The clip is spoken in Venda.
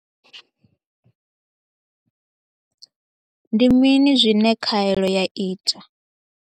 Ndi mini zwine khaelo ya ita?